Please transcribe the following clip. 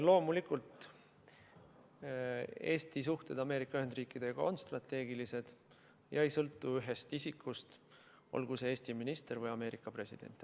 Loomulikult, Eesti suhted Ameerika Ühendriikidega on strateegilised ega sõltu ühest isikust, olgu see Eesti minister või Ameerika president.